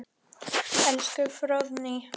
Elsku Fróðný.